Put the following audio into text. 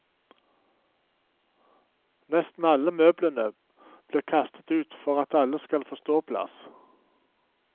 Nesten alle møblene blir kastet ut for at alle skal få ståplass.